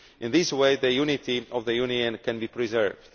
In this way, the unity of the Union can be preserved.